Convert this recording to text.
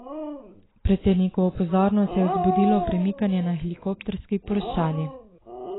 Predsednikovo pozornost je vzbudilo premikanje na helikopterski ploščadi.